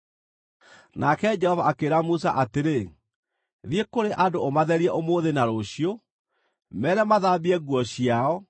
Nake Jehova akĩĩra Musa atĩrĩ, “Thiĩ kũrĩ andũ ũmatherie ũmũthĩ na rũciũ. Meere mathambie nguo ciao,